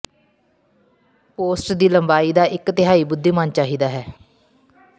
post ਦੀ ਲੰਬਾਈ ਦਾ ਇੱਕ ਤਿਹਾਈ ਬੁੱਧੀਮਾਨ ਚਾਹੀਦਾ ਹੈ